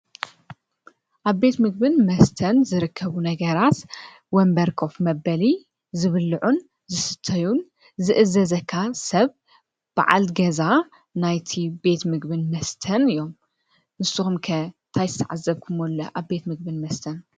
አብ ቤት ምግብን መስተን ዝርከቡ ነገራት ወንበር ኮፍ መበሊ፣ ዝብልዑን ፣ዝስተዩን፣ ዝእዘዘካን ሰብ በዓል ገዛ ናይቲ ቤት ምግብን መስተን እዩ። ንስኩም ከ እንታይ ዝተዓዘብክሞ አሎ ኣብ ቤት ምግብን መስተን ?